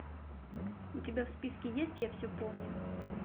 у тебя в списке есть я все помню